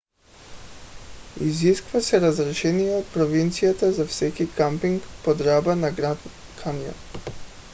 изисква се разрешение от провинцията за всеки къмпинг под ръба на гранд каньон